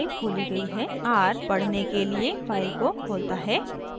r = पढ़ने के लिए फाइल को खोलता है